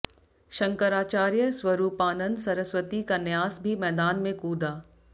शंकराचार्य स्वरूपानंद सरस्वती का न्यास भी मैदान में कूदा